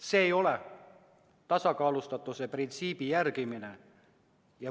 See ei ole tasakaalustatuse printsiibi järgimine.